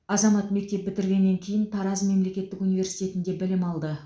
азамат мектеп бітіргеннен кейін тараз мемлекеттік университетінде білім алды